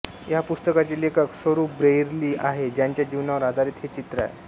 ह्या पुस्तकाचे लेखक सोरु ब्रेइरली आहे ज्याच्या जीवनावर आधारित हे चित्र आहे